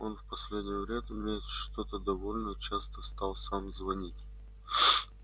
он в последнее время что-то довольно часто стал сам звонить